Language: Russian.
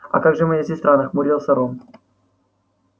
а как же моя сестра нахмурился рон